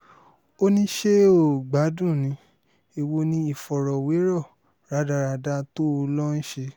ó ní ṣé o ò gbádùn ní èwo ni ìfọ̀rọ̀wérọ̀ rádaràda tó o lọ ń ṣe